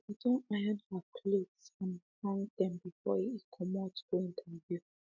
she be don iron her clothes and hung dem before e comot go interview